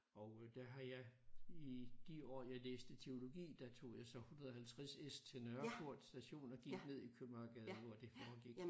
Og øh der har jeg i de år jeg læste teologi der tog jeg så 150 S til Nørreport station og gik ned i Købmagergade hvor det foregik